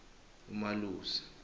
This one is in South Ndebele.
umalusi